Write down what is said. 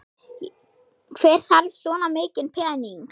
Hver þarf svona mikinn pening?